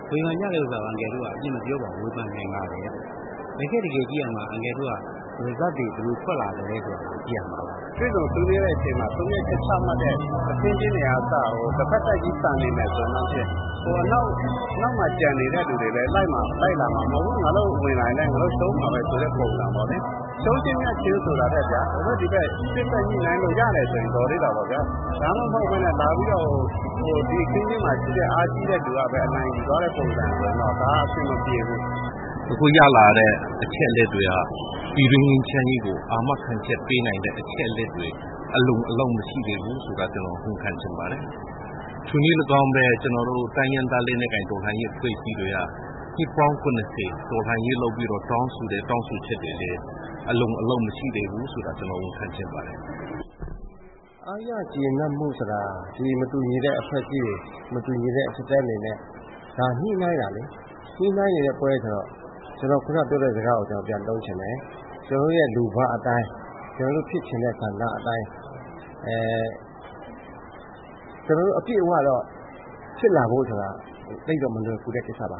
ဝေဖန်ကြတာကို အန်ကယ်တို့က အပြစ်မပြောပါဘူး။ ဝေဖန်နိုင်ပါတယ်။ တကယ့်တကယ်ကြည့်ရမှာက Result တွေဘယ်လိုထွက်လာသလဲဆိုတာကို ကြည့်ရမှာပါ။ တွေ့ဆုံဆွေးနွေးတဲ့အချိန်မှာ ဆုံးဖြတ်ချက်ချမှတ်တဲ့ အခင်းအကျင်းတွေကအစကို တဖက်သတ်ကြီးဆန်နေမယ်ဆိုရင် နောက်မှာကျန်နေတဲ့လူတွေလည်းလိုက်လာမှာမဟုတ်ဘူး။ ငါတို့ဝင်လာရင်လည်း ရှုံးမှာပဲဆိုတဲ့ပုံစံပေါ့နော် ။ ရှုံးခြင်းမြတ်ခြင်းဆိုတာထက် ဟိုဘက်ဒီဘက် စေ့စပ်ညှိနှိုင်းလို့ရတယ်ဆိုတာ တော်သေးတာပေါ့နော်။ ဒါမှမဟုတ်ပဲနဲ့ လာပြီးတော့ ဒီအခင်းအကျင်းမှာရှိတဲ့လူကပဲ အနိုင်ယူသွားတဲ့ပုံစံဆိုတော့ အဆင်မပြေဘူး။ အခုရောက်လာတဲ့ အချက်အလက်တွေက ပြည်တွင်းငြိမ်းချမ်းရေးကို အာမခံချက်ပေးနိုင်တဲ့အချက်အလက်တွေအလုံအလောက်မရှိသေးဘူးဆိုတာ ဝန်ခံချင်ပါတယ်။ ထိုနည်းလည်းကောင်းပဲ ကျနော်တို့ တိုင်းရင်းသားလက်နက်ကိုင်တော်လှန်ရေးအဖွဲ့အစည်းတွေက နှစ်ပေါင်း ၇၀ တော်လှန်ရေးလုပ်ပြီးတော့ တောင်းဆိုတဲ့ တောင်းဆိုချက်တွေလည်း အလုံလောက်မရှိသေးဘူးဆိုတာ ကျနော်ဝန်ခံချင်ပါတယ်။ အားရကျေနပ်မှုဆိုတာ ဒီမတူညီတဲ့ အဖွဲ့အစည်းတွေ မတူညီတဲ့ဟာတွေနဲ့ ညှိနှိုင်းတာလေ၊ ညှိနှိုင်းနေတဲ့ပွဲဆိုတော့ ကျနော်ခုနပြောတဲ့စကားကိုပြန်သုံးချင်တယ်။ ကျနော်တို့ရဲ့ လိုဘအတိုင်း ကျနော်တို့ဖြစ်ချင်တဲ့ ဆန္ဒအတိုင်းဖြစ်လာဖို့ဆိုတာက သိပ်ပြီးတော့ မလွယ်ကူတဲ့ကိစ္စပါ